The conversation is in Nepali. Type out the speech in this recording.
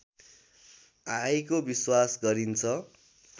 आएको विश्वास गरिन्छ